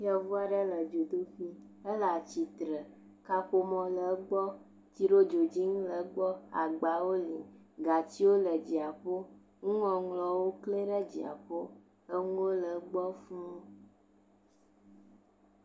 Ŋutsu aɖe kple viawo. Ŋtsua nɔ anyi ɖe zikpui dzi. Ewɔ rasta ɖe ta. Eɖɔ kuku ɖe rasta dzi. Ele ɖevi sue aɖe ɖe akɔ e watamelon dom nɛ ke mamleawo tsi tsitre ɖe egbɔ wo fi na wo wo ɖuɖum eye eɖewo do awu eɖewo medo awu o.